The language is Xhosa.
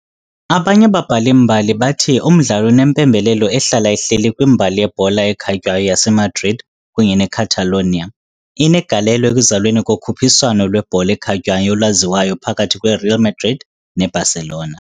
Abanye ababhali-mbali bathi umdlalo unempembelelo ehlala ihleli kwimbali yebhola ekhatywayo yaseMadrid kunye neCatalonia, inegalelo ekuzalweni kokhuphiswano lwebhola ekhatywayo olwaziwayo phakathi kweReal Madrid neBarcelona."